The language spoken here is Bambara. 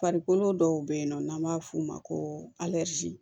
Farikolo dɔw be yen nɔ n'an b'a f'o ma ko